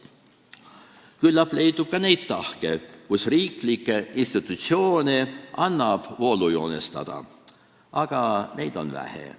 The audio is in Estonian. Küllap leidub ka neid tahke, mille poolest riiklikke institutsioone annab voolujoonestada, aga neid on vähe.